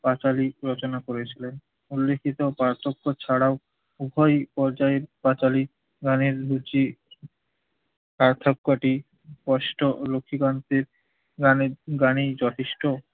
পাঁচালী রচনা করেছিলেন। উল্লিখিত পাচার্য ছাড়াও উভয় পর্যায়ের পাঁচালী গানের রুচি পার্থক্যটি কষ্ট লক্ষীকান্তের গানে গানেই যথেষ্ট।